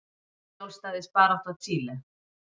Sjálfstæðisbarátta Chile.